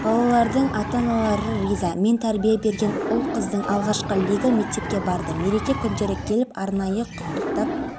республиканың қалған аймағында поволжьеден жылжып келе жатқан салқын фронттардың әсерінен сондай-ақ жаңбыр жауып кей жерлерде бұршақ